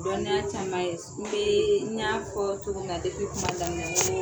Dɔnni caman ye n bɛ' n ɲa fɔ togo mun na kuma daminɛn n ko